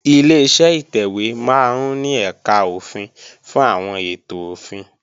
Ileṣẹ́ ìtẹ̀wé máa ń ní ẹ̀kà òfin fún àwọn ètò òfin